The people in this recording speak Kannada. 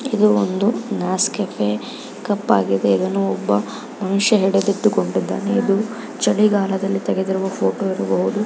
ಇದು ಒಂದು ನೆಸ್ಕೆಫ್ ಕಪ್ ಆಗಿದೆ ಇದನ್ನು ಒಬ್ಬ ಮನುಷ್ಯ ಹಿಡಿದುಕೊಂಡಿದಾನೆ ಇದು ಚಳಿಗಾಲದಲ್ಲಿ ತೆಗೆದಿರುವ ಫೋಟೋ ಆಗಿರ್ಬಹುದು .